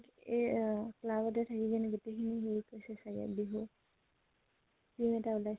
এ অ club তে থাকি পিনে গোটেই খিনি হেৰি কৰিছে চাগে বিহু